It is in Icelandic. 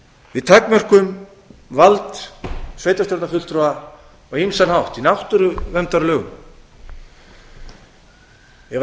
við takmörkum vald sveitarstjórnarfulltrúa á ýmsan hátt í náttúruverndarlögum ef